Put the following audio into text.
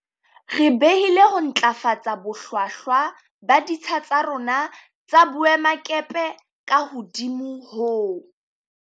Re behile ho ntlafatsa bohlwahlwa ba ditsha tsa rona tsa boemakepe ka hodimo ho